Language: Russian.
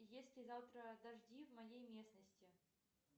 есть ли завтра дожди в моей местности